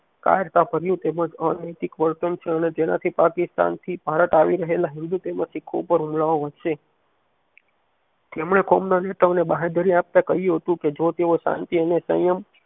કાયરતા ભર્યું અને અનૈતિક વર્તન છે અને જેનાથી પાકિસ્તાન થી ભારત આવી રહેલા હિન્દૂ તેમજ શીખો ઉપર હુમલા ઓ વધશે તેમણે કોમ ના નેતાઓ ને બાંહેદરી આપતા કહ્યુંહતું કે જો તેઓ શાંતિ અને સંયમ